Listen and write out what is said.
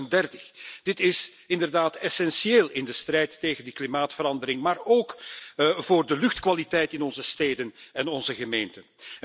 2030. Dit is inderdaad essentieel in de strijd tegen de klimaatverandering, maar ook voor de luchtkwaliteit in onze steden en onze gemeenten.